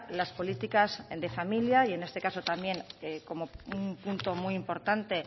las políticas de familia y en este caso también como un punto muy importante